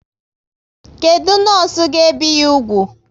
Kedụ nọọsụ ga ebi ya úgwù?